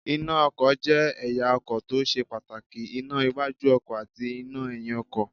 Iná ọkọ̀ jẹ́ ẹ̀ya ọkọ̀ tó ṣe pàtàkì; iná iwájú ọkọ̀ àti iná ẹ̀yin ọkọ̀.